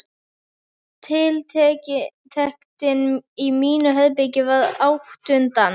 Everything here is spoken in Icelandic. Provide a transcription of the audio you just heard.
Tiltektin í mínu herbergi varð útundan.